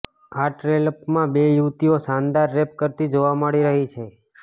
આ ટ્રેલપમાં બે યુવતીઓ શાનદાર રેપ કરતી જોવા મળી રહી છે